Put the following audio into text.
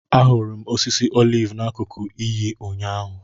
Ahụrụ m osisi oliv n’akụkụ iyi, ụnyaahụ.